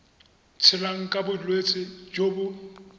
tshelang ka bolwetsi jo bo